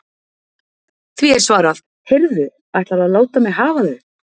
Því er svarað: Heyrðu ætlarðu að láta mig hafa þau?